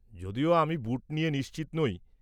যদিও আমি বুট নিয়ে নিশ্চিত নই।